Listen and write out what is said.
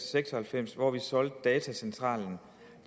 seks og halvfems hvor vi solgte datacentralen